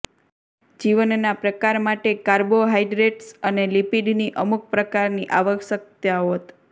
જીવનના પ્રકાર માટે કાર્બોહાઈડ્રેટ્સ અને લિપિડની અમુક પ્રકારની આવશ્યકતા હોત